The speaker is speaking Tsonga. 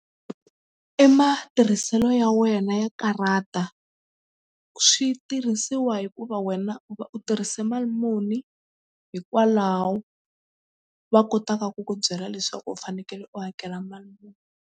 I matirhiselo ya wena ya karhata swi tirhisiwa hikuva wena u va u tirhise mali muni hikwalaho va kotaka ku ku byela leswaku u fanekele u hakela mali muni.